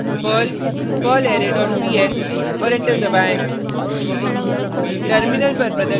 type करें perl perlarray dot pl और enter दबाएँ